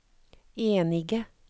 enige